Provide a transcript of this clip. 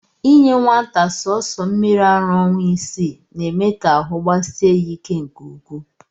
Inye nwata sọọsọ mmiri ara ọnwa isii, na-eme ka ahụ gbasie ya ike nke ukwuu